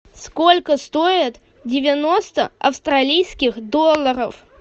сколько стоит девяносто австралийских долларов